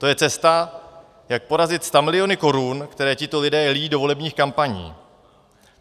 To je cesta, jak porazit stamiliony korun, které tito lidé lijí do volebních kampaní.